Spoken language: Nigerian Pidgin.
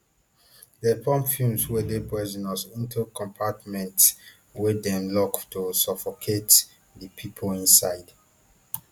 dem pump fumes wey dey poisonous into compartments wey dem lock to suffocate di pipo inside